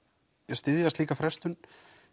styðja slíka frestun